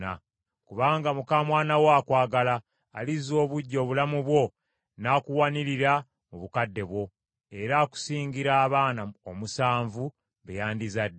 Kubanga muka mwana wo akwagala, alizza obuggya obulamu bwo n’akuwanirira mu bukadde bwo; era akusingira abaana omusanvu, be yandizadde.”